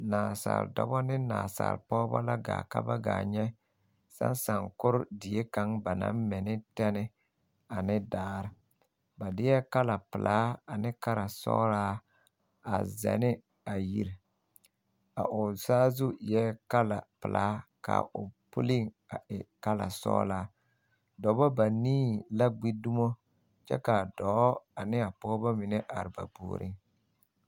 Nansaale dɔbɔ ne Nansaale pɔgeba a gaa ka ba gaa nyɛ ka saakore die kaŋ ba naŋ mɛ ne tane ne daare ba deɛ kala pelaa ne kala sɔglaa a sɛ ne a yiri o saazu eɛ kala pelaa ka pulliŋ e kala sɔglaa dɔba banii la gbi dumo kyɛ ka a dɔɔ ne a pɔgeba mine are ba puoriŋ.